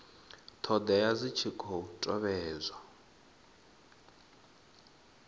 thodea idzi dzi khou tevhedzwa